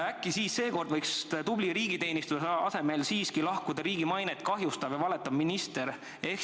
Äkki seekord võiks tubli riigiteenistuja asemel lahkuda siiski riigi mainet kahjustav ja valetav minister?